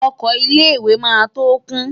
Oko ilé-ìwé máa tó kún.